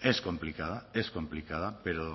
es complicada es complicada pero